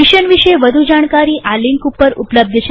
mission વિષે વધુ જાણકારી આ લિંક ઉપર ઉપલબ્ધ છે